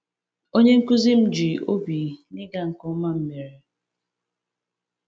Onye nkuzi m ji obi ụtọ n’ịga nke ọma m mere.